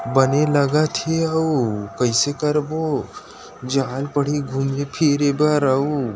बने लगथ ह अउ कैसे करबो घूमे फिरे रउ।